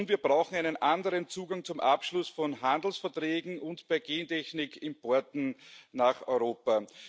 Und wir brauchen einen anderen Zugang zum Abschluss von Handelsverträgen und bei Gentechnikimporten nach Europa.